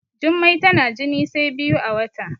Jummai tana jini sai biyu a wata